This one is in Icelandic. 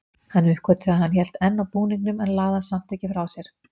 Hann uppgötvaði að hann hélt enn á búningnum en lagði hann samt ekki frá sér.